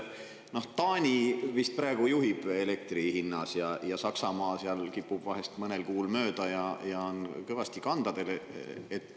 Taani vist praegu juhib elektri hinna poolest ja Saksamaa seal kipub vahel, mõnel kuul mööda minema ja on kõvasti kandadel.